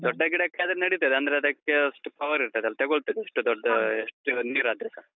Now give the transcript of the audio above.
ದೊಡ್ಡ ಗಿಡಕ್ಕಾದ್ರೆ ನಡೀತದೆ, ಅಂದ್ರೆ ಅದಕ್ಕೇ ಅಷ್ಟು power ಇರ್ತದಲ್ಲ ತೆಗೋಳ್ತದೆ. ಎಷ್ಟು ದೊಡ್ಡ ಎಷ್ಟು ನೀರಾದ್ರೆಸ.